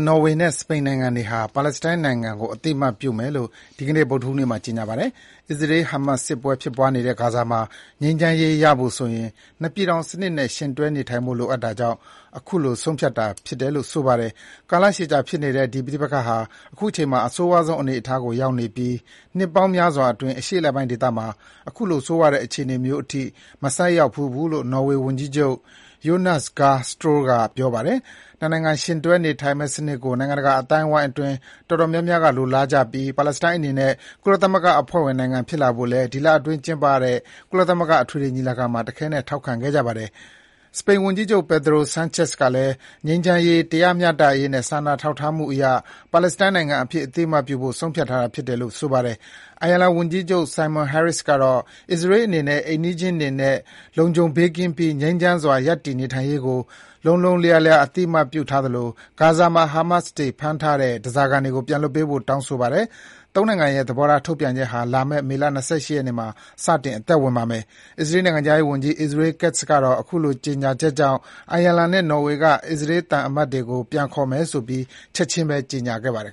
နော်ဝေနဲ့ စပိန်နိုင်ငံတွေဟာ ပါလက်စတိုင်းနိုင်ငံကို အသိအမှတ်ပြုမယ်လို့ ဒီကနေ့ ဗုဒ္ဓဟူးနေ့မှာ ကြေညာပါတယ်။ အစ္စရေး ဟာမတ်စ် စစ်ပွဲဖြစ်ပွားနေတဲ့ ဂါဇာမှာ ငြိမ်းချမ်းရေးရဖို့ဆိုရင် နှစ် ပြည်ထောင်စနစ်နဲ့ ယှဥ်တွဲနေထိုင်ဖို့ လိုအပ်တာကြောင့် အခုလို ဆုံးဖြတ်တာ ဖြစ်တယ်လို့ ဆိုပါတယ်။ ကာလကြာရှည်ဖြစ်နေတဲ့ ဒီပဋိပက္ခဟာ အခုအချိန်မှာ အဆိုးရွားဆုံး အနေအထားကို ရောက်နေပြီး နှစ်ပေါင်းများစွာအတွင်း အရှေ့အလယ်ပိုင်းဒေသမှာ အခုလို ဆိုးရွားတဲ့ အခြေအနေမျိုးထိ မဆိုက်ရောက်ခဲ့ဖူးဘူးလို့ နော်ဝေ ဝန်ကြီးချုပ် Jonas Gahr Store က ပြောပါတယ်။ ၂ နိုင်ငံ ယှဥ်တွဲနေထိုင်မယ့် စနစ်ကို နိုင်ငံတကာအသိုင်းအဝိုင်းအတွင်း တော်တော်များများက လိုလားကြပြီး ပါလက်စတိုင်းအနေနဲ့ ကုလသမဂ္ဂ အဖွဲ့ဝင်နိုင်ငံဖြစ်လာဖို့လည်း ဒီလအတွင်း ကျင်းပတဲ့ ကုလသမဂ္ဂအထွေထွေညီလာခံမှာ တခဲနက် ထောက်ခံခဲ့ကြတာပါ။ စပိန်ဝန်ကြီးချုပ် Pedro Sanchez ကလည်း ငြိမ်းချမ်းရေး၊ တရားမျှတရေးနဲ့ စာနာထောက်ထားမှုအရ ပါလက်စတိုင်းနိုင်ငံအဖြစ် အသိအမှတ်ပြုဖို့ ဆုံးဖြတ်တာဖြစ်တယ်လို့ ပြောပါတယ်။ အိုင်ယာလန် ဝန်ကြီးချုပ် Simon Harris ကတော့ အစ္စရေးအနေနဲ့ အိမ်နီးချင်းတွေနဲ့ လုံခြုံဘေးကင်းပြီး ငြိမ်းချမ်းစွာ ရပ်တည်နေထိုင်နိုင်ရေးကို လုံးလုံးလျားလျား အသိအမှတ်ပြုထားသလို ဂါဇာမှာ ဟာမတ်စ်တွေ ဖမ်းထားတဲ့ ဓါးစာခံတွေကို ပြန်လွှတ်ပေးဖို့ တောင်းဆိုပါတယ်။ ၃နိုင်ငံရဲ့ သဘောထားထုတ်ပြန်ချက်ဟာ လာမယ့် မေ ၂၈ မှာ စတင် အသက်ဝင်မှာပါ။ အစ္စရေး နိုင်ငံခြားရေးဝန်ကြီး Israel Katz ကတော့ အခုလို ကြေညာချက်ကြောင့် အိုင်ယာလန်နဲ့ နော်ဝေက အစ္စရေးသံအမတ်တွေကို ပြန်ခေါ်မယ်ဆိုပြီး ချက်ချင်းပဲ ကြေညာပါတယ်